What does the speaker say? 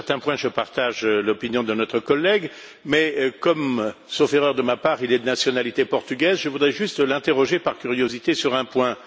Sur certains points, je partage l'opinion de notre collègue mais comme, sauf erreur de ma part, il est de nationalité portugaise, je voudrais juste l'interroger, par curiosité, sur un point.